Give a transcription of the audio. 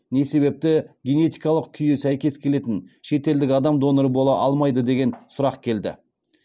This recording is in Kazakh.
не себепті генетикалық күйі сәйкес келетін шетелдік адам донор бола алмайды деген сұрақ келді